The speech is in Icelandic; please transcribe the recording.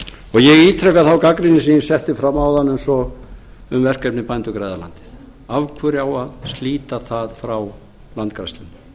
ítreka þá gagnrýni sem ég setti fram áðan um verkefnið bændur græða landið af hverju á að slíta það frá landgræðslunni ég veit